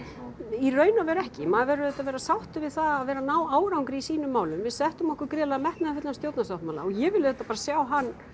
í raun og veru ekki maður verður auðvitað að vera sáttur við það að vera að ná árangri í sínum málum við settum okkur gríðarlega metnaðarfullan stjórnarsáttmála og ég við auðvitað bara sjá hann